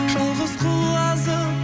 жалғыз құлазып